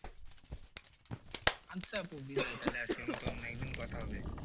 আচ্ছা আপু বিদায় তাহলে আজকের মতো অন্য একদিন কথা হবে।